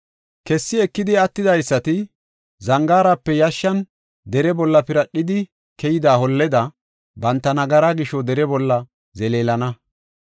Kessi ekidi attidaysati, zangaarape yashshan dere bolla piradhidi keyida holleda, banta nagaraa gisho dere bolla zeleelana.